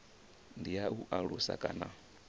ndi ya u alusa kana